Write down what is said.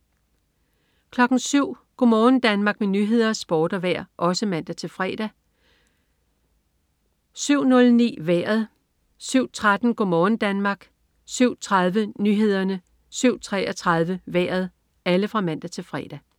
07.00 Go' morgen Danmark med nyheder, sport og vejr (man-fre) 07.00 Nyhederne og Sporten (man-fre) 07.09 Vejret (man-fre) 07.13 Go' morgen Danmark (man-fre) 07.30 Nyhederne (man-fre) 07.33 Vejret (man-fre)